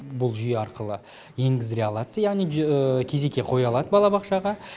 бұл жүйе арқылы енгіздіре алады яғни кезекке қоя алады балабақшаға